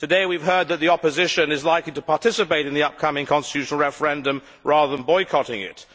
Today we have heard that the opposition is likely to participate in the upcoming constitutional referendum rather than boycotting it.